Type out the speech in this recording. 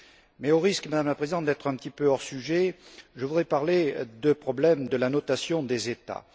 Mais au risque, Madame la Présidente, d'être un petit peu hors sujet, je voudrais parler du problème de la notation des États.